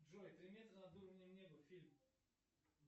джой три метра над уровнем неба фильм